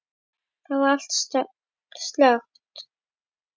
Þar var allt slökkt.